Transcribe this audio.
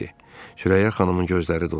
Sürəyyə xanımın gözləri doldu.